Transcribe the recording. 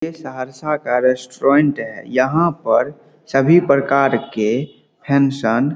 यह सहरसा का रेस्टोरेंट है। यहाँ पर सभी प्रकार के --